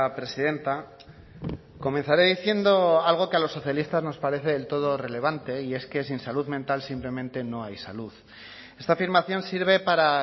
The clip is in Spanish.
presidenta comenzaré diciendo algo que a los socialistas nos parece del todo relevante y es que sin salud mental simplemente no hay salud esta afirmación sirve para